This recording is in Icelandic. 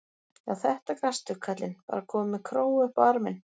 Já, þetta gastu, kallinn, bara kominn með króga upp á arminn.